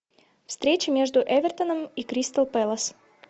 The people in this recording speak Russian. встреча между эвертоном и кристал пэлас